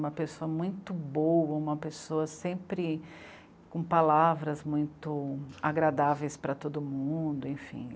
Uma pessoa muito boa, uma pessoa sempre com palavras muito agradáveis para todo mundo, enfim.